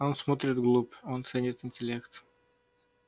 он смотрит вглубь он ценит интеллект